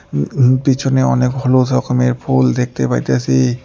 উম উম পিছনে অনেক হলুদ রকমের ফুল দেখতে পাইতাসি।